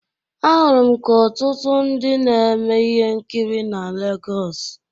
Ahụrụ m ka ọtụtụ ndị na-eme ihe nkiri na Lagos.